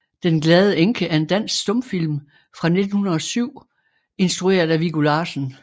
Den glade Enke er en dansk stumfilm fra 1907 instrueret af Viggo Larsen